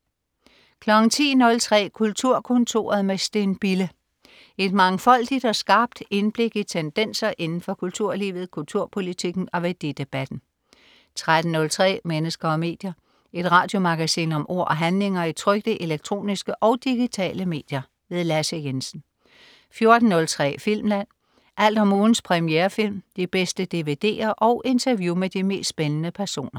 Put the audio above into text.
10.03 Kulturkontoret med Steen Bille. Et mangfoldigt og skarpt indblik i tendenser inden for kulturlivet, kulturpolitikken og værdidebatten 13.03 Mennesker og medier. Et radiomagasin om ord og handlinger i trykte, elektroniske og digitale medier. Lasse Jensen 14.03 Filmland. Alt om ugens premierefilm, de bedste dvd'er og interview med de mest spændende personer